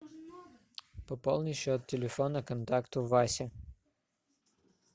пополни счет телефона контакта васи